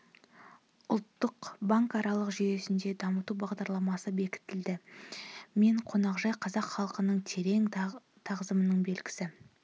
ұлттық банкаралық жүйесінде дамыту бағдарламасы бекітілді мен қонақжай қазақ халқына терең тағзымның белгісі